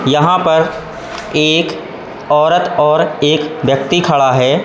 यहां पर एक औरत और एक व्यक्ति खड़ा है।